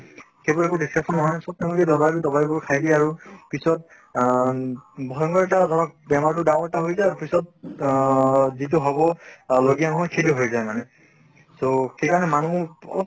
সেইবোৰ একো discussion নহয় চব তেওঁলোকে দবাই বোৰ খাই দিয়ে আৰু পিছত আহ ভয়ংকৰ এটা ধৰক বেমাৰ টো ডাঙৰ এটা হৈ যায় পিছত অহ যিটো হʼব সেইটো হৈ যায় মানে। ত্হ সেইকাৰণে মানুহ অলপ